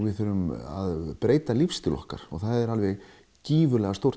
við þurfum að breyta lífsstíl okkar og það er